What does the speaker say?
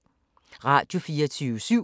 Radio24syv